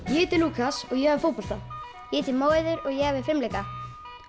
ég heiti Lúkas og ég æfi fótbolta ég heiti Móeiður og ég æfi fimleika